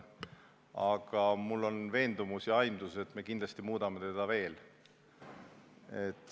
Aga mul on veendumus ja aimdus, et me kindlasti muudame seda veel.